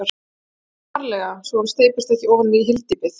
VARLEGA svo hann steypist ekki ofan í hyldýpið.